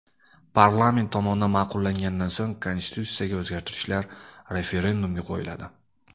Parlament tomonidan ma’qullangandan so‘ng konstitutsiyaga o‘zgartirishlar referendumga qo‘yiladi.